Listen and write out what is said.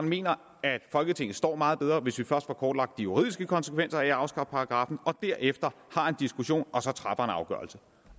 mener at folketinget står meget bedre hvis vi først får kortlagt de juridiske konsekvenser af at afskaffe paragraffen og derefter har en diskussion og så træffer en afgørelse